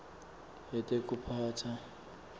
yetekuphatsa